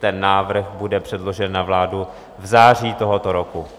Ten návrh bude předložen na vládu v září tohoto roku.